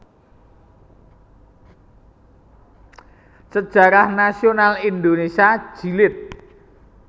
Sejarah Nasional Indonesia Jilid